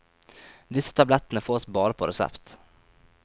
Disse tablettene fås bare på resept.